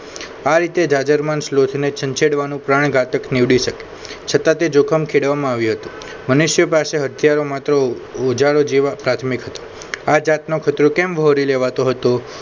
આ રીતે જાજરમાન ને સ્લોચ ને છનછેડ વાનું પ્રાણ ગાતક નીવડી શકે છતાં તે જોખમ ખેડવામાં આવ્યો હતો મનુષ્ય પાસે હથિયારો માંતો માત્ર ઓજારો જેવા પ્રાથમિક હતો. આ પ્રકાર નો ખતરો કેમ વ્યોરી લેવાતો હતો